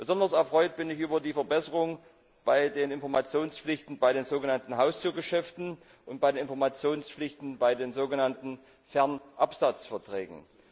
Besonders erfreut bin ich über die Verbesserungen bei den Informationspflichten bei den so genannten Haustürgeschäften und bei den Informationspflichten bei den so genannten Fernabsatzverträgen.